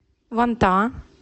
вантаа